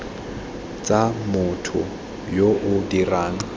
tsa motho yo o dirang